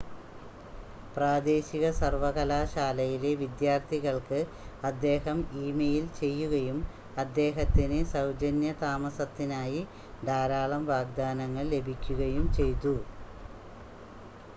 പ്രാദേശിക സർവ്വകലാശാലയിലെ വിദ്യാർത്ഥികൾക്ക് അദ്ദേഹം ഇമെയിൽ ചെയ്യുകയും അദ്ദേഹത്തിന് സൗജന്യ താമസത്തിനായി ധാരാളം വാഗ്‌ദാനങ്ങൾ ലഭിക്കുകയും ചെയ്തു